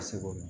se k'o dɔn